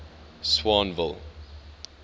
swanville